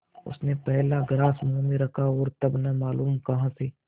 उसने पहला ग्रास मुँह में रखा और तब न मालूम कहाँ से